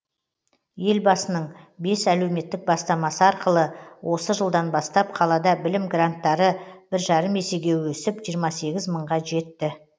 елбасының бес әлеуметтік бастамасы арқылы осы жылдан бастап қалада білім гранттары бір жарым есеге өсіп жиырма сегіз мыңға жетті